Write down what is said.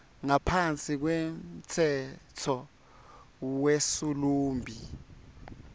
ngaphansi kwemtsetfo wesilumbi